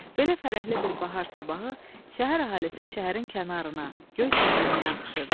Belə fərəhli bir bahar sabahı şəhər əhalisi şəhərin kənarına, Göyçəmənliyə axışırdı.